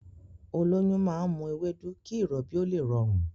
Olóyún náà ń mu ewédú kí ìrọbí ó lè rọrùn